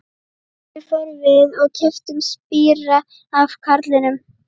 Þangað fórum við og keyptum spíra af karlinum.